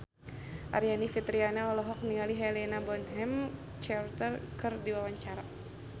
Aryani Fitriana olohok ningali Helena Bonham Carter keur diwawancara